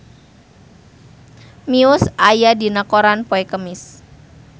Muse aya dina koran poe Kemis